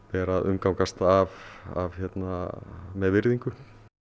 ber að umgangast af af virðingu